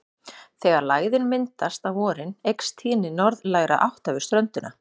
Þegar lægðin myndast á vorin eykst tíðni norðlægra átta við ströndina.